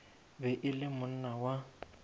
be e le monna wa